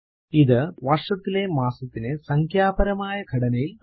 ഇത് വർഷത്തിലെ മാസത്തിനെ സംഖ്യാപരമായ ഘടനയിൽ നൽകുന്നു